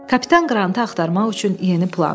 Kapitan Qrantı axtarmaq üçün yeni plan.